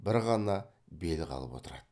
бір ғана бел қалып отырады